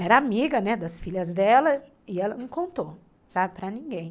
Era amiga, né, das filhas dela, e ela não contou, sabe, para ninguém.